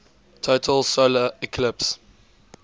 total solar eclipse